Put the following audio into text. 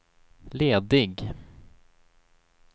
ledig